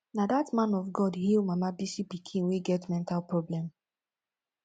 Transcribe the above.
na that man of god heal mama bisi pikin wey get mental problem